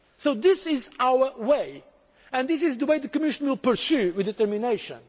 So this is our way and this is the way the Commission will pursue with determination.